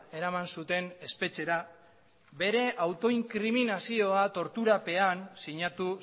eraman zuten espetxera bere autoinkriminazioa torturapean sinatu